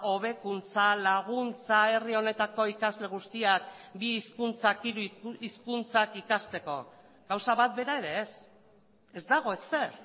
hobekuntza laguntza herri honetako ikasle guztiak bi hizkuntzak hiru hizkuntzak ikasteko gauza bat bera ere ez ez dago ezer